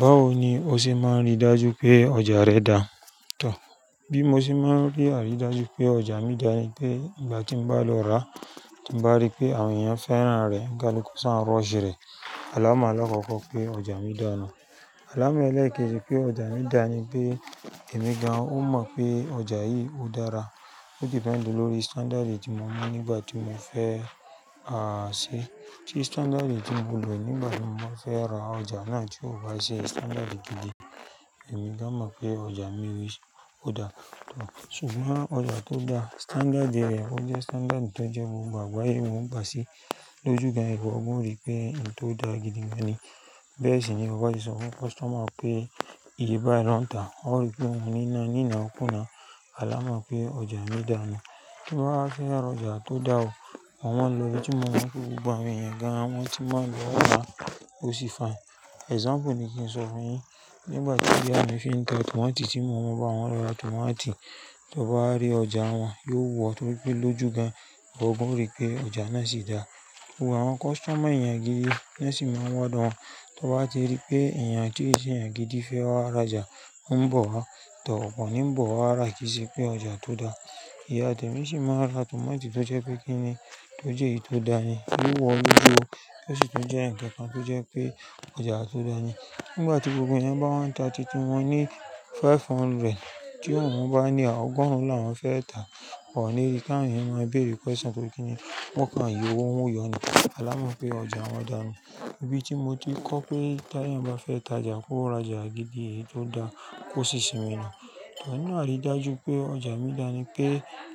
Báwo ni o ṣe máa nrí dájú pé ọjà rẹ dáa? Bí mo ṣe máa n rí àrídájú pé ọjà mi dáa ni pé ìgbà tí mo bá lọ ra, tí mo bá rí pé àwọn èèyàn fẹ́ràn rẹ̀ kálukú sá n rush rẹ̀. Alámọ̀ àlọ́kọ̀kọ̀ pé ọjà mi dáa nù. Alámọ̀ ẹlẹ́ẹ̀kejì pé ọjà mi dá ni pé èmi gan-an ó mọ̀ pé ọjà yìí ó dára. Ó dìpẹ́ndi lórí standáàdì tí mo mú nígbà tí mo fẹ́, à, ṣe. Tí standáàdì tí mo lò nígbà tí mo máa fẹ́ ra ọjà náà tí ò bá jẹ́ standáàdì gidi, èmi gan-an mọ̀ pé ọjà mi ò dáa. Ṣùgbọ́n ọjà tó dáa, standáàdì rẹ̀ ó jẹ́ standáàdì tó jẹ́ gbogbo àgbáyé wọn o gbà síi. Lójú gan-an, ìwọ gan-an ó rí pé ohun to dáa gidi gan-an ni. Bẹ́ẹ̀ sì ni ọba ti sọ fún customer pé ìyí bá n lọ́ńtà. Ó rí pé òun níná nína kúna. Alámọ̀ pé ọjà mi dáa nù. Bí wọ́n bá fẹ́ ra ọjà tó dáa o, wọ́n máa ń lo ohun tí wọ́n mọ̀ pé gbogbo àwọn èèyàn gan-an wọ́n ti máa ń lòó máa ó sì fine. Example ni kí n sọ fún yín. Nígbà tí ìyá mi fi ń ka tomato tí mo mọ̀ pé àwọn ra tomato, tí ó bá rí ọjà wọn, yóò wò ó tó pé lójú gan-an, ó gbọ́rí pé ọjà náà sì dáa. Òun àwọn customer èèyàn gidi bẹ́ẹ̀ sì máa ń wádọ̀ wọn. Tí wọ́n bá ti rí pé èèyàn tí ó jẹ́ èèyàn gidi fẹ́ wá ra ọjà, ó ń bọ̀ wá. Òpọ̀ ni ń bọ̀ wá, àrákìṣẹ́ pé ọjà tó dáa. Ìyá Àdùnní sì máa ń ra tomato tó jẹ́ pé kíni, tó jẹ́ èyí tó dáa ni. Yóò wò ó lójú o. Bẹ́ẹ̀ sì tó jẹ́ ǹkan tó jẹ́ pé ọjà tó dáa ni. Nígbà tí gbogbo èèyàn bá wọ́n ta títí wọn ní five hundred, tí òun bá ní ọgọ́rùn-ún làwọn fẹ́ ta, kò ní ìkà, èèyàn máa béèrè question pé kíni, wọ́n kàn yo owó wó yọ ni. Alámọ̀ pé ọjà wọn dáa nù. Ibi tí mo ti kọ́ pé tí èèyàn bá fẹ́ ta ọjà, kó ra ọjà gidi èyí tó dáa kó sì sinmi nù. Ìwà náà rí dájú pé ọjà mi dá ni pé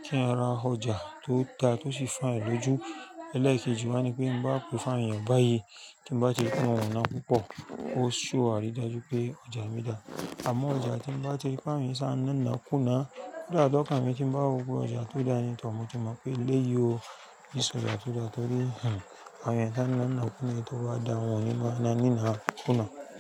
tí ẹn ra ọjà tó dáa tó sì fine lójú, ẹlẹ́ẹ̀kejì máa ni pé bá ò fine èèyàn báyìí, tí ń bá ti mọ̀ ọ̀nà púpọ̀, ó sì wà rí dájú pé ọjà mi dáa. Àmọ́ ọjà tí ń bá ti rí pé àwọn èèyàn ṣa níná kúna, yóò dàńkà pé tí ń bá wo pé ọjà tó dáa ni tọ, mo ti mọ̀ pé léyìí o, nísinsìnyí ọjà tó dáa torí, ẹ̀, àwọn èèyàn ṣa níná kúna, èyí tó bá dá wọn yín máa náníná kúna.